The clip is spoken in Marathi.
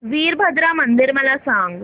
वीरभद्रा मंदिर मला सांग